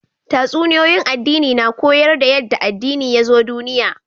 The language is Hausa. Tatsuniyoyin addini na koyar da yanda addini yazo duniya